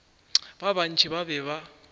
ba bantši ba be ba